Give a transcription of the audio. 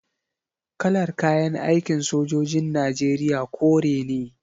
Kalar kayan aikin sojojin Najeriya kore ne.